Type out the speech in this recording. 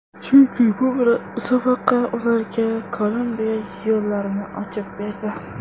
Chunki bu musobaqa ularga Kolumbiya yo‘llarini ochib berdi.